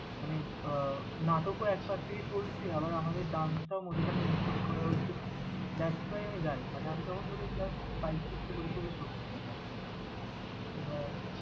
মানে আহ নাটক ও একপাশ থেকে চলছে আবার আমাদের dance টাও মধ্যিখানে include করা হয়েছিল। That's why আমি জানি, মানে আমি তখন বোধহয় class five, six এ পড়ি, খুবই ছোট।